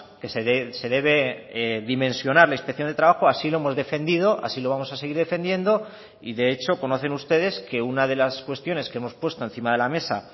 que se debe dimensionar la inspección de trabajo así lo hemos defendido así lo vamos a seguir defendiendo y de hecho conocen ustedes que una de las cuestiones que hemos puesto encima de la mesa